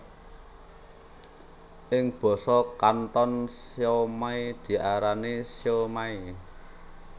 Ing basa Kanton siomai diarani siu maai